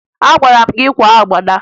Agwara m gị kwaa agbada!